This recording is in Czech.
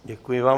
Děkuji vám.